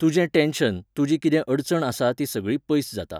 तुजें टॅन्शन, तुजी कितें अडचण आसा ती सगळी पयस जाता.